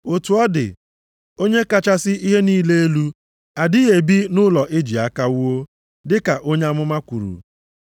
“Otu ọ dị, Onye kachasị ihe niile elu adịghị ebi nʼụlọ e ji aka wuo, dịka onye amụma kwuru,